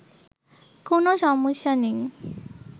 কোনো সমস্যা নেই